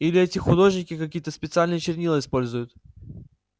или эти художники какие-то специальные чернила используют